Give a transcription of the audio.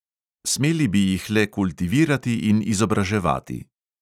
Smeli bi jih le kultivirati in izobraževati.